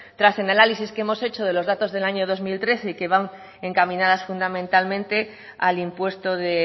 tras el análisis que hemos hecho de los datos del año dos mil trece y que van encaminadas fundamentalmente al impuesto de